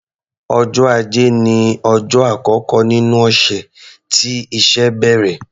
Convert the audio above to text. Ọjọ́ Ajé ní ọjọ́ àkọ́kọ́ nínú ọ̀sẹ̀ tí iṣẹ́ bẹ̀rẹ̀.